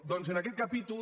doncs en aquest capítol